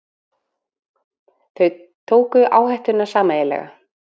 Þau tóku áhættuna sameiginlega.